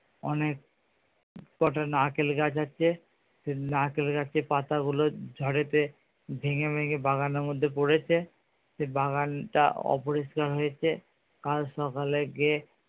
অনেক কটা নারকেল গাছ আছে সেই নারকেল গাছের পাতাগুলো ঝড়েতে ভেঙে ভেঙে বাগানের মধ্যে পড়েছে সেই বাগানটা অপরিষ্কার হয়েছে কাল সকালে গিয়ে